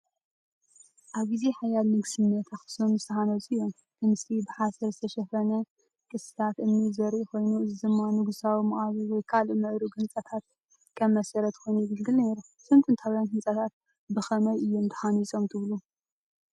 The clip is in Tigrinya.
ኣብ ግዜ ሓያል ንግስነት ኣኽሱም ዝተሃንጹ እዮም። እቲ ምስሊ ብሓሰር ዝተሸፈነ ቅስትታት እምኒ ዘርኢ ኮይኑ፡ እዚ ድማ ንጉሳዊ መቓብር ወይ ካልእ ምዕሩግ ህንጻታት ከም መሰረት ኮይኑ የገልግል ነይሩ። እዞም ጥንታውያን ህንጻታት ብኸመይ እዮም ተሃኒጾም ትብሉ?